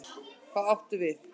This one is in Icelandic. Hvað áttu við?